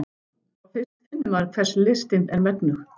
Þá fyrst finnur maður hvers listin er megnug.